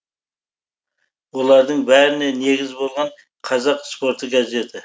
олардың бәріне негіз болған қазақ спорты газеті